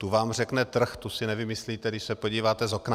Tu vám řekne trh, tu si nevymyslíte, když se podíváte z okna.